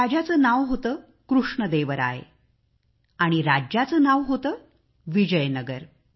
राजाचे नाव होते कृष्णदेवराय आणि राज्याचे नाव होते विजयनगर